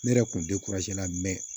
Ne yɛrɛ kun tɛ lamɛn